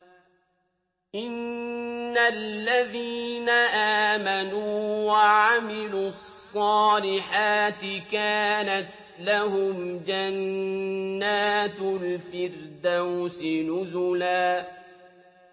إِنَّ الَّذِينَ آمَنُوا وَعَمِلُوا الصَّالِحَاتِ كَانَتْ لَهُمْ جَنَّاتُ الْفِرْدَوْسِ نُزُلًا